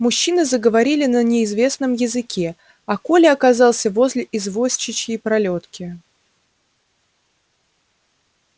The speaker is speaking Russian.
мужчины заговорили на неизвестном языке а коля оказался возле извозчичьей пролётки